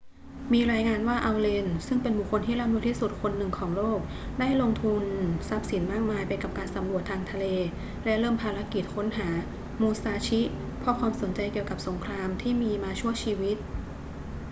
มีรายงานว่าอัลเลน ซึ่งเป็นบุคคลที่ร่ำรวยที่สุดคนหนึ่งของโลกได้ลงทุนทรัพย์สินมากมายไปกับการสำรวจทางทะเลและเริ่มภารกิจค้นหามูซาชิเพราะความสนใจเกี่ยวกับสงครามที่มีมาชั่วชีวิต